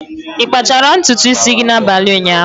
Ị kpachara ntutu isi gị n'abalị ụnyaahụ?